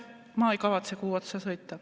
Ma ei kavatse kuu peale sõita.